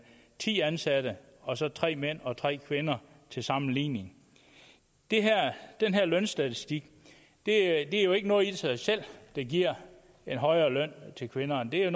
ti ansatte og så tre mænd og tre kvinder til sammenligning den her lønstatistik er jo ikke noget i sig selv der giver en højere løn til kvinderne det er